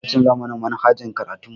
Za a canza mana manhajar karatun mu